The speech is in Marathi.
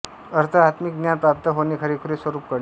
अर्थ आत्मिक ज्ञान प्राप्त होणे खरेखुरे स्वरूप कळणे